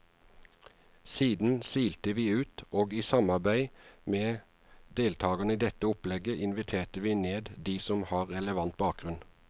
Siden silte vi ut, og i samarbeid med deltagerne i dette opplegget inviterte vi ned de som har relevant bakgrunn.